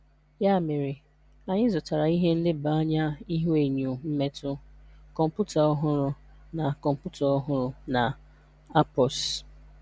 Ya mere, anyị zụtara ihe nleba anya ihuenyo mmetụ, kọmputa ọhụrụ na kọmputa ọhụrụ na ARPOS.